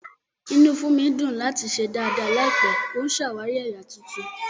Inú Funmi dùn láti ṣe dàda láìpẹ́, ó ń ṣàwárí ẹ̀yà tuntun.